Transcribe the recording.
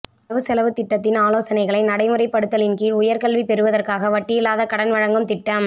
வரவு செலவுத் திட்டத்தின் ஆலோசனைகளை நடைமுறைபடுத்தலின்கீழ் உயர் கல்வி பெறுவதற்காக வட்டியில்லாத கடன் வழங்கும் திட்டம்